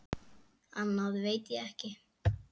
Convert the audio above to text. Annað veit ég ekki.